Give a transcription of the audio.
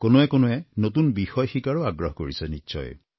কোনোৱে কোনোৱে নতুন বিষয় শিকাৰো আগ্ৰহ কৰিছে নিশ্চয়